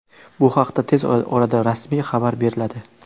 Bu haqda tez orada rasmiy xabar beriladi.